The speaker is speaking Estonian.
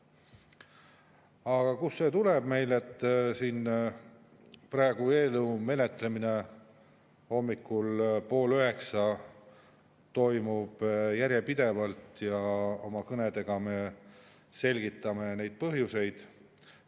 Aga kust see tuleb meil, et praegu, hommikul pool üheksa toimub ikka veel eelnõu menetlemine ja oma kõnedes me selgitame neid põhjuseid?